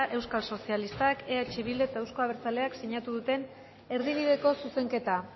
podemos euskal talde popularrak euskal sozialistak eh bildu eta euzko abertzaleak sinatu duten erdibideko zuzenketa